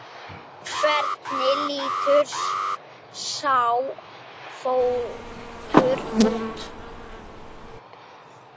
Hvernig lítur sá fótur út?